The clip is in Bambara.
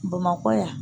Bamakɔ yan